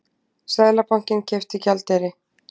Seðlabankinn keypti gjaldeyri